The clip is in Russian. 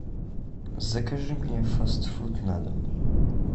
закажи мне фастфуд на дом